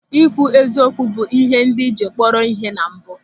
Ị kwụ eziokwu bụ ịhe ndị jiri kpọrọ ihe na mbụ.